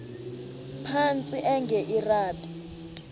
phantsi enge lrabi